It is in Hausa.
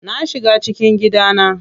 Na shiga cikin gidana.